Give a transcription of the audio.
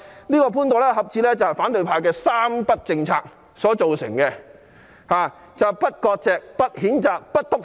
這個潘朵拉盒子是反對派的"三不政策"造成的，即不割席、不譴責、不"篤灰"。